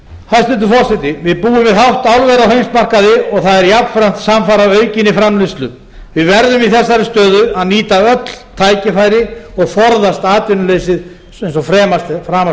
hæstvirtur forseti við búum við hátt álver á heimsmarkaði og það er jafnframt samfara aukinni framleiðslu við verðum í þessari stöðu að nýta öll tækifæri og forðast atvinnuleysið eins og framast er hægt